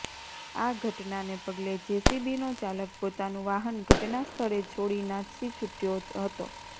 આ ઘટનાને પગલે જેસીબીનો ચાલક પોતાનું વાહન ઘટનાસ્થળે છોડી નાસી છુટ્યો હતો